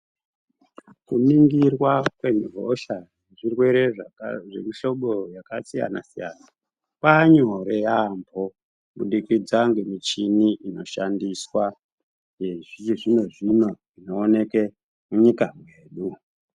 Kuningirwa kwehosha zvirwere zvemihlobo yakasiyana siyana kwaa nyore yaambo kubudikidza nemichini inoshandiswa yechizvino zvino inooneke munyika medu.